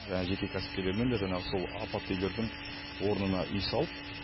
жаңағы жеке кәсіпкерлермен де жаңағы сол апатты үйлердің орнына үй салып